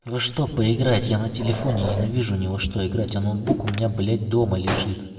во что поиграть я на телефоне ненавижу ни во что играть а ноутбук у меня блять дома лежит